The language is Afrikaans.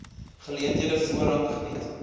geleenthede voorrang geniet